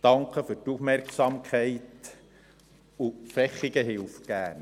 Vielen Dank für die Aufmerksamkeit, und Vechigen hilft gerne.